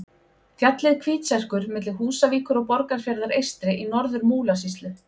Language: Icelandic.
Fjallið Hvítserkur milli Húsavíkur og Borgarfjarðar eystri í Norður-Múlasýslu.